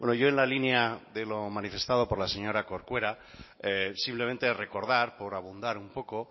yo en la línea de lo manifestado por la señora corcuera simplemente recordar por abundar un poco